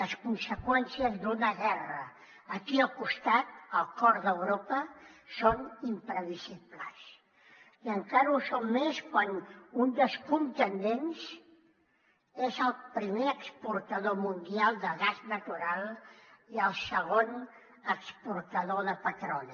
les conseqüències d’una guerra aquí al costat al cor d’europa són imprevisibles i encara ho són més quan un dels contendents és el primer exportador mundial de gas natural i el segon exportador de petroli